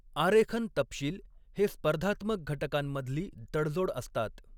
आरेखन तपशील हे स्पर्धात्मक घटकांमधली तडजोड असतात.